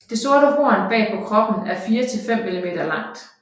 Det sorte horn bag på kroppen er 4 til 5 mm langt